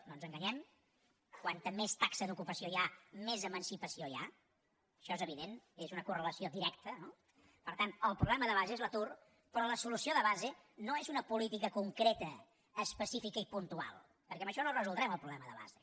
no ens enganyem com més taxa d’ocupació hi ha més emancipació hi ha això és evident és una correlació directa no per tant el problema de base és l’atur però la solució de base no és una política concreta específica i puntual perquè amb això no el resoldrem el problema de base